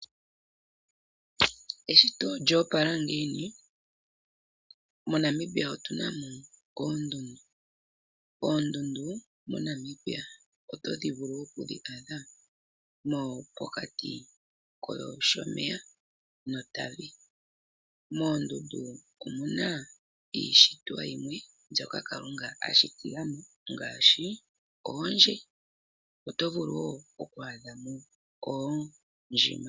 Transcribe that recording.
Eshito olyo opala ngiini. MoNamibia otu na mo oondundu. Oondundu MoNamibia oto vulu okudhi adha pokati koShomeya noTavi. Moondundu omu na iishitwa yimwe mbyoka Kalunga a shitila mo ngaashi oondje. Oto vulu wo okwa adhamo oondjima.